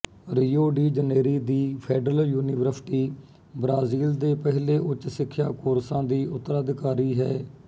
Rio de Janeiro ਦੀ federal university Brazil ਦੇ ਪਹਿਲੇ ਉੱਚ ਸਿੱਖਿਆ ਕੋਰਸਾਂ ਦੀ ਉਤਰਾਧਿਕਾਰੀ ਹੈ